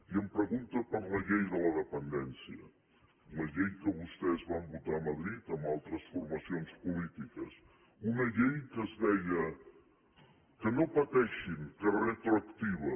i em pregunta per la llei de la dependència la llei que vostès van votar a madrid amb altres formacions polítiques una llei que es deia que no pateixin que és retroactiva